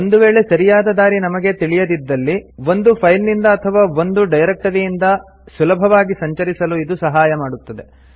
ಒಂದು ವೇಳೆ ಸರಿಯಾದ ದಾರಿ ನಮಗೆ ತಿಳಿದಿದ್ದಲ್ಲಿ ಒಂದು ಫೈಲ್ ನಿಂದ ಅಥವಾ ಒಂದು ಡೈರೆಕ್ಟರಿಯಿಂದ ಸುಲಭವಾಗಿ ಸಂಚರಿಸಲು ಇದು ಸಹಾಯ ಮಾಡುತ್ತದೆ